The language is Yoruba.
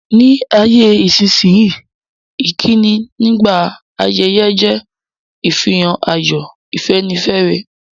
Ní ayé-isínyí, ìkíni nígbà ayẹyẹ je ìfihàn ayọ̀, ìfẹ́nifẹ́re.